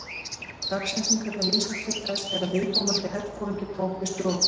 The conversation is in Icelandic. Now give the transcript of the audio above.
Dagsetningarnar vísa til þess þegar viðkomandi herforingi tók við stjórn.